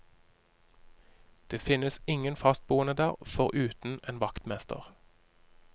Det finnes ingen fastboende der, foruten en vaktmester.